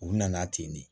U nana ten de